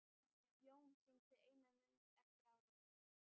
Jón sýndi eina mynd eftir árið.